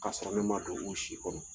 Ka sɔrɔ ne ma don n si kɔnɔ.